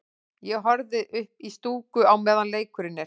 Ég horfi ekki upp í stúku á meðan leikurinn er.